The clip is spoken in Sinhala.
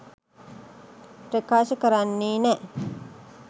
ප්‍රකාශ කරන්නෙ නෑ.